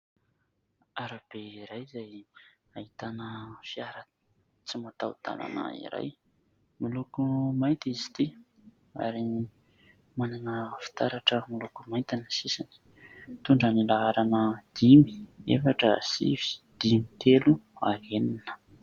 Arabe iray izay ahitana fiara tsy mataho-dàlana iray. Miloko mainty izy ity ary manana fitaratra miloko mainty ny sisiny. Mitondra ny laharana : dimy, efatra, sivy, dimy, telo, ary enina.